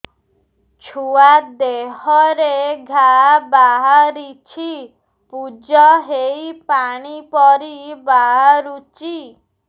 ଛୁଆ ଦେହରେ ଘା ବାହାରିଛି ପୁଜ ହେଇ ପାଣି ପରି ବାହାରୁଚି